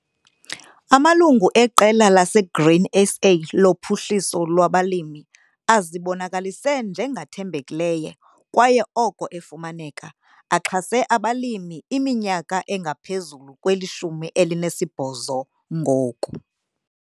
Amalungu eqela laseGrain SA loPhuhliso lwabaLimi azibonakalise njengathembekileyo kwaye oko 'efumaneka' axhase abalimi kwiminyaka engaphezulu kweli-18 ngoku.